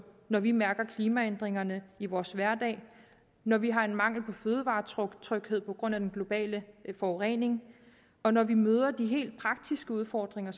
når vi mærker klimaændringerne i vores hverdag når vi har en mangel på fødevaretryghed på grund af den globale forurening og når vi møder de helt praktiske udfordringer